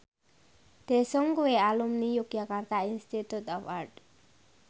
Daesung kuwi alumni Yogyakarta Institute of Art